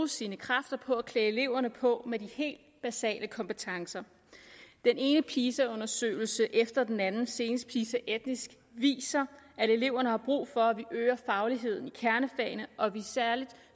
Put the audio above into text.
sine kræfter på at klæde eleverne på med de helt basale kompetencer den ene pisa undersøgelse efter den anden senest pisa etnisk viser at eleverne har brug for at vi øger fagligheden i kernefagene og at vi særlig